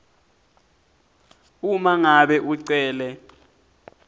uma ngabe ucele